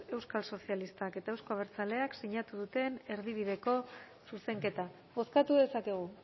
euskal sozialistak eta euzko abertzaleak sinatu duten erdibideko zuzenketa bozkatu dezakegu